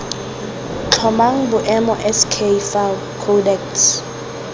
tlhomang boemo sk fao codex